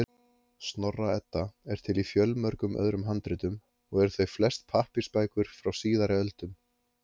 Snorra-Edda er til í fjölmörgum öðrum handritum, og eru þau flest pappírsbækur frá síðari öldum.